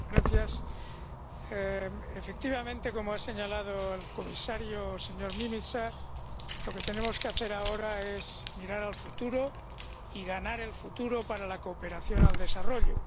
Señora presidenta, efectivamente ‒como ha señalado el comisario, señor Nimica‒, lo que tenemos que hacer ahora es mirar al futuro y ganar el futuro para la cooperación al desarrollo.